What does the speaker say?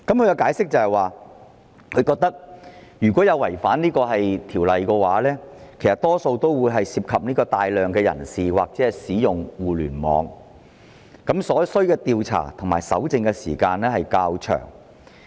根據當局的解釋，違反《條例草案》的情況多數會涉及大量人士或互聯網的使用，所需的調查和搜證時間會較長。